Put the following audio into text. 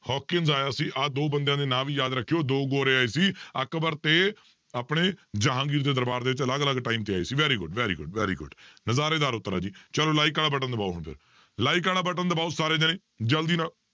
Hawkins ਆਇਆ ਸੀ ਆਹ ਦੋ ਬੰਦਿਆਂ ਦੇ ਨਾਂ ਵੀ ਯਾਦ ਰੱਖਿਓ ਦੋ ਗੋਰੇ ਆਏ ਸੀ ਅਕਬਰ ਤੇ ਆਪਣੇ ਜਹਾਂਗੀਰ ਦੇ ਦਰਬਾਰ ਦੇ ਵਿੱਚ ਅਲੱਗ ਅਲੱਗ time ਤੇ ਆਏ ਸੀ very good, very good, very good ਨਜ਼ਾਰੇਦਾਰ ਉੱਤਰ ਹੈ ਜੀ ਚਲੋ like ਵਾਲਾ button ਦਬਾਓ ਹੁਣ ਫਿਰ like ਵਾਲਾ button ਦਬਾਓ ਸਾਰੇ ਜਾਣੇ ਜ਼ਲਦੀ ਨਾਲ